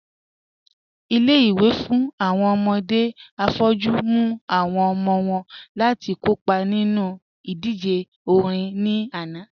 Ilé-ìwé fún awọn ọmọdé afọ́jù mú awọn ọmọ wọn láti kọ́pa nínu idíjè orin ní ànà